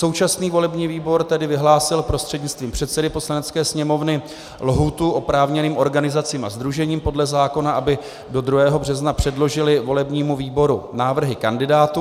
Současný volební výbor tedy vyhlásil prostřednictvím předsedy Poslanecké sněmovny lhůtu oprávněným organizacím a sdružením podle zákona, aby do 2. března předložily volebnímu výboru návrhy kandidátů.